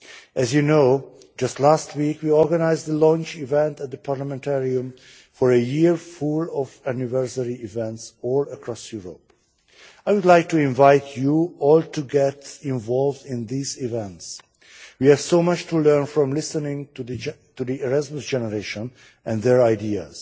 As you know, just last week we organised a launch event at the Parliamentarium for a year full of anniversary events all across Europe. I would like to invite you all to get involved in these events, as we have so much to learn from listening to the Erasmus generation and their ideas.